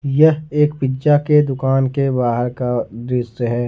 यह एक पिज़्ज़ा के दुकान के बाहर का दृश्य है।